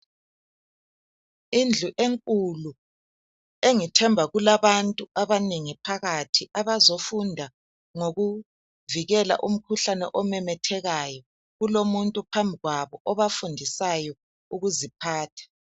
Indlu enkulu engithemba kulabantu abanengi phakathi abazofunda ngokuvikela umkhuhlane omemethekayo kulomuntu phambili kwabo obafundisayo ukuziphatha.